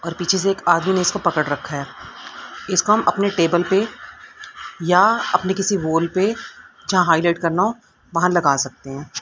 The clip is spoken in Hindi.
और पीछे से एक आदमी ने इसको पकड़ रखा है इसको हम अपने टेबल पे या अपने किसी वॉल पे जहां हाइलाइट करना हो वहां लगा सकते हैं।